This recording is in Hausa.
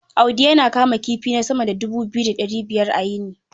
Audi yana kama kifi na sama da dubu biyu da ɗari biyar a yini.